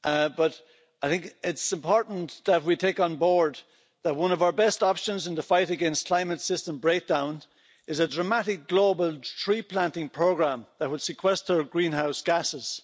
But I think it's important that we take on board that one of our best options in the fight against climate system breakdown is a dramatic global tree planting programme that would sequester greenhouse gases.